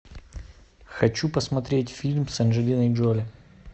хочу посмотреть фильм с анджелиной джоли